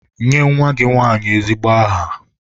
Nye nwa gị nwanyị ezigbo aha!